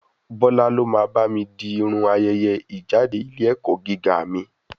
Bọ́lá ló máa bá mi di Irun ayẹyẹ ìjáde ilé ẹ̀kọ́ gíga mi.